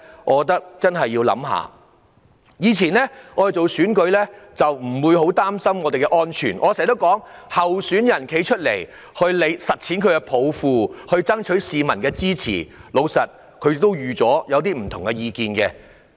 我們以往參選不會太擔心安全問題，因為候選人出來參選，是為了實踐抱負及爭取市民的支持，所以早已預料會遇到持不同意見的人。